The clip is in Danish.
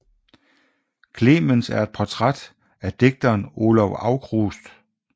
Klemens er et portræt af digteren Olav Aukrust